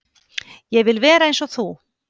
Ég vil vera eins og þú!